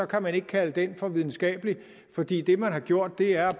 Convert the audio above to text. kan man ikke kalde den for videnskabelig fordi det man har gjort er